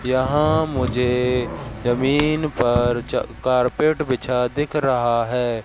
यहां मुझे जमीन पर च कारपेट बिछा दिख रहा है।